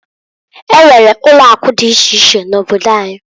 E nwere ulo akụ di iche iche n'obodo anyi.